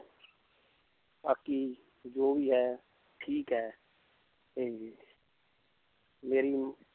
ਬਾਕੀ ਜੋ ਵੀ ਹੈ ਠੀਕ ਹੈ ਤੇ ਮੇਰੀ